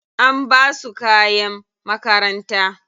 An basu kayan makaranta.